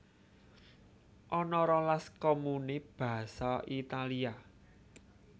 Ana rolas komune basa Italia